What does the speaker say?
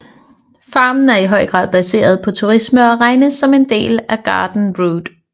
Farmen er i høj grad baseret på turisme og regnes som en del af Garden Route